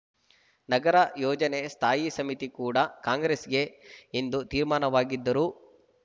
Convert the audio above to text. ನಗರ ಯೋಜನೆ ಸ್ಥಾಯಿ ಸಮಿತಿ ಕೂಡ ಕಾಂಗ್ರೆಸ್‌ಗೆ ಎಂದು ತೀರ್ಮಾನವಾಗಿದ್ದರೂ